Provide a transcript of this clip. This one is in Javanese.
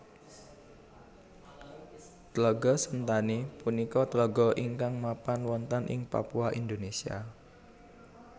Tlaga Sentani punika tlaga ingkang mapan wonten ing Papua Indonesia